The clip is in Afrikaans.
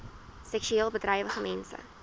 seksueel bedrywige mense